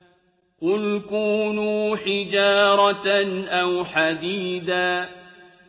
۞ قُلْ كُونُوا حِجَارَةً أَوْ حَدِيدًا